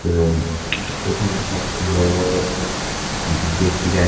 Room এখানে সব বড় বড় ব্যক্তিরা।